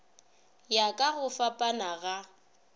ya ka go fapana ga